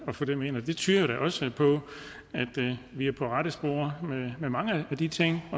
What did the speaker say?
at få dem ind det tyder jo da også på at vi er på rette spor med mange af de ting